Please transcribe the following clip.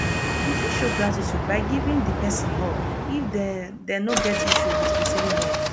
you fit show gratitude by giving di person hug if dem dem no get issue with recieving hug